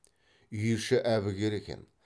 үй іші әбігер екен